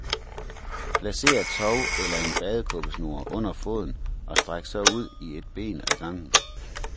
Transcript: Placer et tov eller en badekåbesnor under foden og stræk så ud i et ben ad gangen.